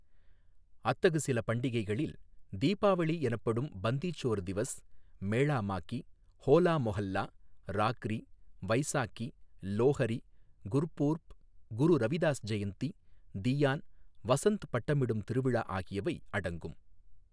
அத்தகு சில பண்டிகைகளில் தீபாவளி எனப்படும் பந்தி சோர் திவஸ், மேளா மாகி, ஹோலா மொஹல்லா, ராக்ரி, வைசாகி, லோஹரி, குர்பூர்ப், குரு ரவிதாஸ் ஜெயந்தி, தீயான், வசந்த் பட்டம்விடும் திருவிழா ஆகியவை அடங்கும்.